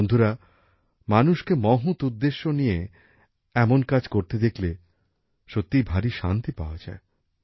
বন্ধুরা মানুষকে মহৎ উদ্দেশ্য নিয়ে এমন কাজ করতে দেখলে সত্যিই ভারি শান্তি পাওয়া যায়